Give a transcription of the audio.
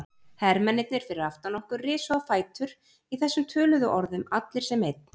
Hermennirnir fyrir aftan okkur risu á fætur í þessum töluðum orðum, allir sem einn.